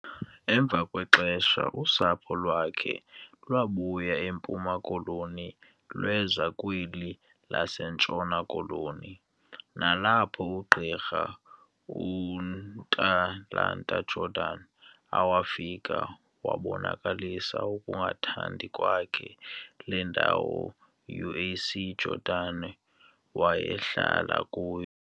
Emva kwexesha usapho lwakhe lwabuya eMpuma Koloni lweza kweli laseNtshona Koloni nalapho ugqirha Ntantala- Jordan awafika wabonakalisa ukungathandi kwakhe le ndawo UAC Jordan wayehlala kuyo.